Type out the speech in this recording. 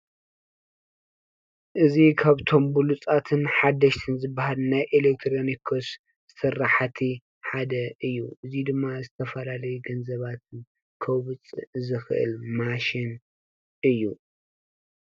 እዚ ካብቶም ብሉፆትን ሓደሽትን ዘባሃሉ ናይ ኤሎክትሮኒክስ ስራሕቲ ሓደ እዩ፡፡ እዚዩ ድማ ዝተፋላለዩ ገኒዘባተ ከዉፅእ ዘኽእል ማሽን እዩ፡፡